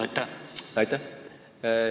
Aitäh!